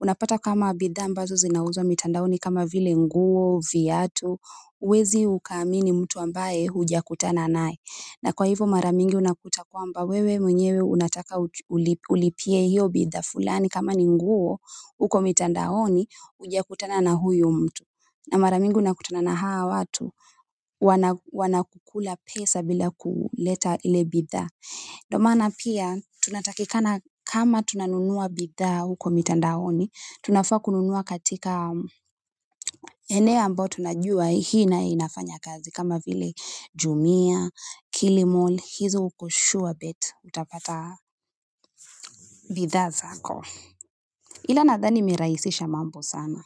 unapata kama bidhaa ambazo zinauzwa mitandaoni kama vile nguo, viatu, huwezi ukaamini mtu ambaye hujakutana naye na kwa hivyo mara mingi unakuta kwamba wewe mwenyewe unataka ulipie hiyo bidhaa fulani kama ni nguo huko mitandaoni hujakutana na huyu mtu na mara mingi unakutana na hawa watu, wanakukula pesa bila kuleta ile bidhaa. Ndio maana pia, tunatakikana kama tunanunua bidhaa huko mitandaoni, tunafaa kununua katika eneo ambao tunajua hii ina inafanya kazi. Kama vile jumia, kilimall, hizo uko sure bet, utapata. Bidhaa zako ila nadhani imerahisisha mambo sana.